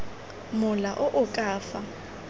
mola o o ka fa